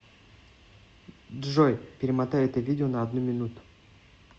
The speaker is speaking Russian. джой перемотай это видео на одну минуту